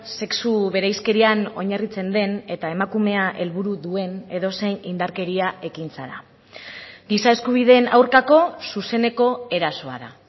sexu bereizkerian oinarritzen den eta emakumea helburu duen edozein indarkeria ekintza da giza eskubideen aurkako zuzeneko erasoa da